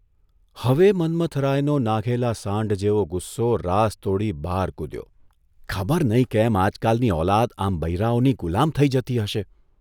હવે મન્મથરાયનો નાઘેલા સાંઢ જેવો ગુસ્સો રાસ તોડી બહાર કૂધ્યો, ' ખબર નહીં કેમ આજકાલની ઔલાદ આમ બૈરાંઓની ગુલામ થઇ જતી હશે?